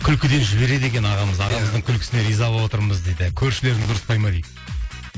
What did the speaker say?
күлкіден жібереді екен ағамыз ағамыздың күлкісіне риза болып отырмыз дейді көршілеріңіз ұрыспай ма дейді